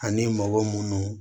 Ani mɔgɔ munnu